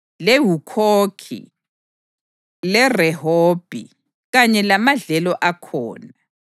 leHukhokhi leRehobhi, kanye lamadlelo akhona;